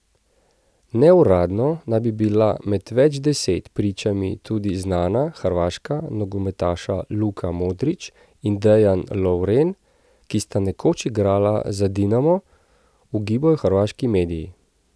Neuradno naj bi bila med več deset pričami tudi znana hrvaška nogometaša Luka Modrić in Dejan Lovren, ki sta nekoč igrala za Dinamo, ugibajo hrvaški mediji.